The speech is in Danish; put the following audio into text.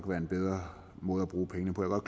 været en bedre måde at bruge pengene på